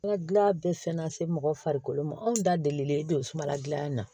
Ka dilan bɛɛ fɛn na se mɔgɔ farikolo ma anw da delilen don sumala gilan na